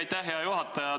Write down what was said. Aitäh, hea juhataja!